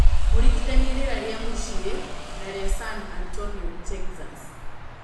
mũringithanie rĩera rĩa mũcĩĩ na rĩa San Antonio Texas